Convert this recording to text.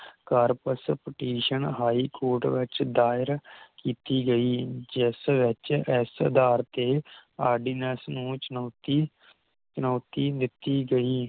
Corps Petition High Court ਵਿਚ ਦਾਇਰ ਕੀਤੀ ਗਈ ਜਿਸ ਵਿਚ ਇਸ ਅਧਾਰ ਤੇ ਆਰ ਡੀ ਨੇਸ ਨੂੰ ਚੁਣੌਤੀ ਚੁਣੌਤੀ ਦਿਤੀ ਗਈ